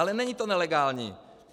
Ale není to nelegální.